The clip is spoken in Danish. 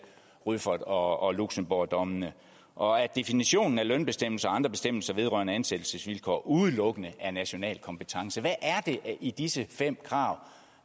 rüffert og luxembourgdommene og at definitionen af lønbestemmelser og andre bestemmelser vedrørende ansættelsesvilkår udelukkende er national kompetence hvad er det i disse fem krav